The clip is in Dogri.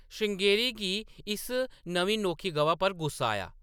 श्रृंगेरी गी इस नमीं नोखी गवा पर गुस्सा आया ।